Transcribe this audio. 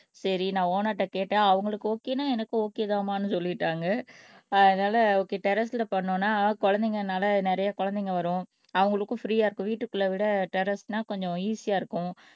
சரி நான் ஓனர் கிட்ட கேட்டேன் அவங்களுக்கு ஓகேன்னா எனக்கு ஓகே தான்ம்மான்னு சொல்லிட்டாங்க அதனால ஓகே டெர்ரஸ்ல பண்ணோம்ன்னா குழந்தைங்கனால ந நிறைய குழந்தைங்க வரும் அவங்களுக்கும் பிரீயா இருக்கும் வீட்டுக்குள்ள விட டெர்ரஸ்ன்னா கொஞ்சம் ஈசியா இருக்கும்